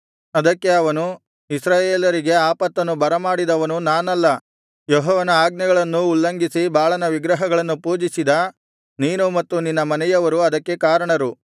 ಅದಕ್ಕೆ ಅವನು ಇಸ್ರಾಯೇಲರಿಗೆ ಆಪತ್ತನ್ನು ಬರಮಾಡಿದವನು ನಾನಲ್ಲ ಯೆಹೋವನ ಆಜ್ಞೆಗಳನ್ನು ಉಲ್ಲಂಘಿಸಿ ಬಾಳನ ವಿಗ್ರಹಗಳನ್ನು ಪೂಜಿಸಿದ ನೀನೂ ಮತ್ತು ನಿನ್ನ ಮನೆಯವರೂ ಅದಕ್ಕೆ ಕಾರಣರು